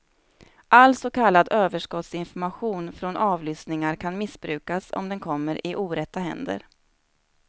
All så kallad överskottsinformation från avlyssningar kan missbrukas om den kommer i orätta händer.